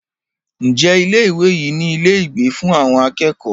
Ǹjẹ́ ilé ìwé yìí ní ilé ìgbé fún àwọn akẹ́kọ̀ọ́?